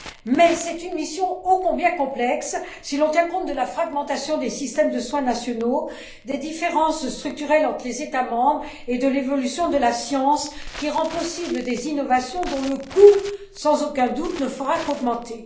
Mais c'est une mission oh combien complexe, si l'on tient compte de la fragmentation des systèmes de soins nationaux, des différences structurelles entre les États membres et de l'évolution de la science qui rend possible des innovations dont le coût ne fera, sans aucun doute, qu'augmenter.